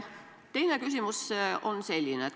Teine küsimus on selline.